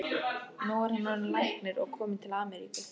Nú er hann orðinn læknir og kominn til Ameríku.